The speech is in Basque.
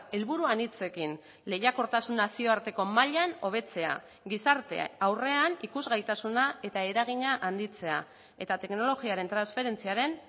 helburu anitzekin lehiakortasun nazioarteko mailan hobetzea gizarte aurrean ikusgaitasuna eta eragina handitzea eta teknologiaren transferentziaren